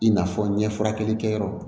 I n'a fɔ ɲɛ furakɛlikɛyɔrɔ